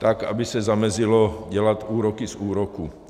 Tak aby se zamezilo dělat úroky z úroků.